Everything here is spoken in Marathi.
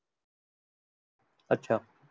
अच्छा.